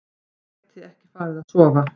Gæti ekki farið að sofa.